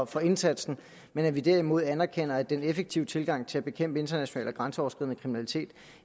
for indsatsen men at vi derimod anerkender at den effektive tilgang til at bekæmpe international og grænseoverskridende kriminalitet